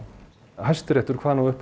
Hæstiréttur kvað nú upp